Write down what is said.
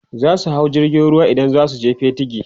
zasu hau jirgin ruwa idan zasu je Patigi